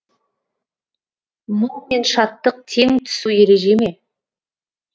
мұң мен шаттық тең түсу ереже ме